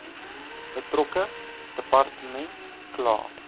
betrokke departement kla